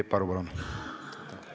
Peep Aru, palun!